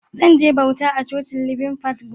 Zan je bauta a Cocin Living Faith gobe.